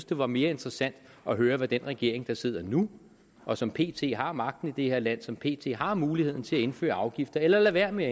det var mere interessant at høre hvad den regering der sidder nu og som pt har magten i det her land som pt har muligheden til at indføre afgifter eller lade være med